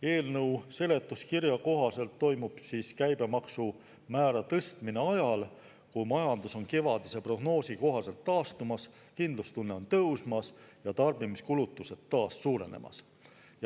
Eelnõu seletuskirja kohaselt toimub käibemaksumäära tõstmine ajal, kui majandus on kevadise prognoosi kohaselt taastumas, kindlustunne on tõusmas ja tarbimiskulutused taas suurenemas.